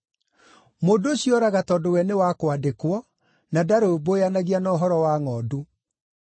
Mũndũ ũcio oraga tondũ we nĩ wa kwandĩkwo, na ndarũmbũyanagia na ũhoro wa ngʼondu.